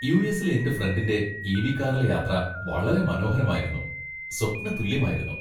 യു.എസി.ലെ എന്റെ ഫ്രണ്ടിന്റെ E. V .കാറിലെ യാത്ര വളരെ മനോഹരമായിരുന്നു, സ്വപ്നതുല്യമായിരുന്നു.